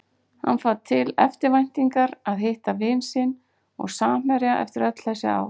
Hann fann til eftirvæntingar að hitta vin sinn og samherja eftir öll þessi ár.